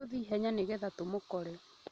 Tũthĩe ihenya nĩgetha tũmũkore